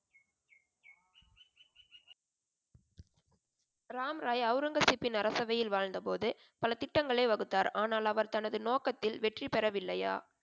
ராம் ராய் ஔரங்கசீப்பின் அரசபையில் வாழ்ந்த போது பல திட்டங்களை வகுத்தார் ஆனால் அவர் தனது நோக்கத்தில் வெற்றி பெற வில்லையா?